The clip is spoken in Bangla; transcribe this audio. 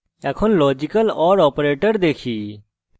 এখন লজিক্যাল or operator আসি